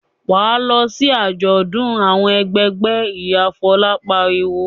"Wà á lọ sí àjọ̀dún àwọn ẹgbẹgbẹ́!" Ìyá Fọlá pariwo.